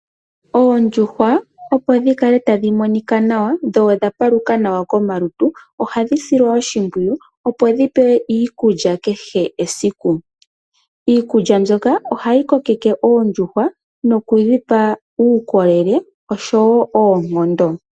Oondjuhwa opo dhikale tadhi monika nawa, dho odha paluka nawa komalutu, ohadhi silwa oshimpwiyu opo dhipewe iikulya kehe esiku. Iikulya mbyoka ohayi kokeke oondjuhwa nokudhipa uukolele oshowo oonkondo.